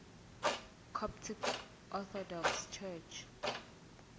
coptic orthodox church